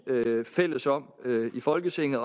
fælles om i folketinget